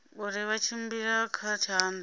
uri vha tshimbila kha tshanḓa